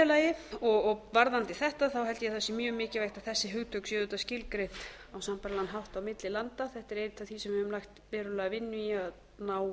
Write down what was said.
þetta held ég að það sé mjög mikilvægt að þessi hugtök séu auðvitað skilgreind á sambærilegan hátt á milli landa þetta er eitt af því sem við höfum lagt verulega vinnu í að ná